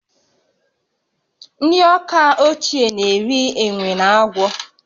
Ndị Awka ochie na-eri enwe na agwọ